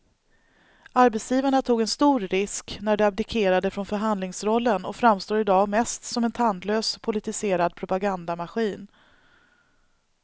Arbetsgivarna tog en stor risk när de abdikerade från förhandlingsrollen och framstår i dag mest som en tandlös politiserad propagandamaskin.